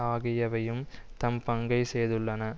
ஆகியவையும் தம் பங்கைச் செய்துள்ளன